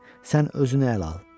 Sən özünə əl al, qorxma.